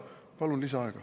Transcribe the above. Palun lisaaega.